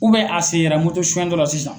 a sen yera suyɛn dɔ la sisan.